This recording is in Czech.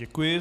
Děkuji.